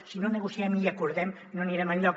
si no negociem i acordem no anirem enlloc